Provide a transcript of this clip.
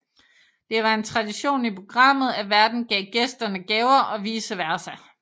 Det var en tradition i programmet at værten gav gæsterne gaver og vice versa